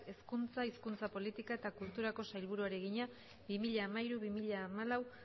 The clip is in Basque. hezkuntza hizkuntza politika eta kulturako sailburuari egina bi mila hamairu bi mila hamalau